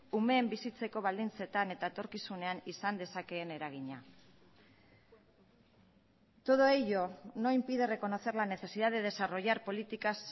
umeen bizitzeko baldintzetan eta etorkizunean izan dezakeen eragina todo ello no impide reconocer la necesidad de desarrollar políticas